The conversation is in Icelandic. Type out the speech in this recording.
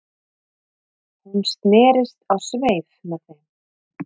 Hún snerist á sveif með þeim